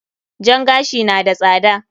Jan gashi na da tsada.